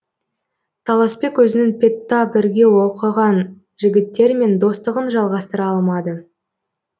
таласбек өзінің педта бірге оқыған жігіттермен достығын жалғастыра алмады